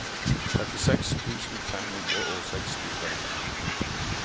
trettiseks tusen fem hundre og sekstitre